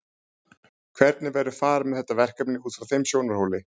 Hvernig verður farið með þetta verkefni út frá þeim sjónarhóli?